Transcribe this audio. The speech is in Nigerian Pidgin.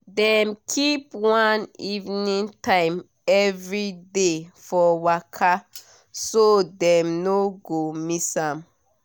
dem keep one evening time every day for waka so dem no go miss am.